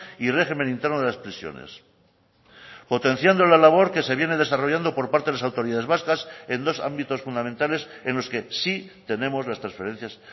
y régimen interno de las prisiones potenciando la labor que se viene desarrollando por parte de las autoridades vascas en dos ámbitos fundamentales en los que sí tenemos las transferencias